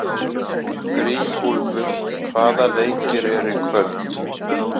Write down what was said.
Grímúlfur, hvaða leikir eru í kvöld?